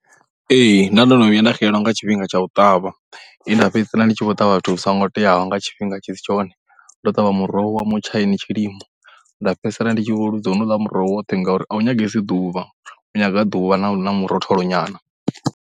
Ee, nda ndo no vhuya nda xelelwa nga tshifhinga tsha u ṱavha, he nda fhedzisela ndi tshi vho ṱavha zwithu zwi songo teaho nga tshifhinga tshi si tshone. Ndo ṱavha muroho wa mutshaini tshilimo, nda fhedzisela ndi tshi vho ḽuza khou honouḽa muroho woṱhe ngauri a u nyagesi ḓuvha. U nyaga ḓuvha na murotholo nyana.